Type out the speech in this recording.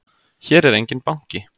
Hér er enginn banki!